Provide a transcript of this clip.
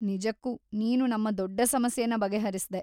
ನಿಜಕ್ಕೂ ನೀನು ನಮ್ಮ ದೊಡ್ಡ ಸಮಸ್ಯೆನ ಬಗೆಹರಿಸ್ದೆ.